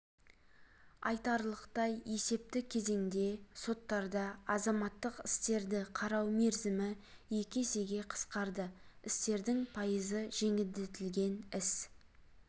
айталық есепті кезеңде соттарда азаматтық істерді қарау мерзімі екі есеге қысқарды істердің пайызы жеңілдетілген іс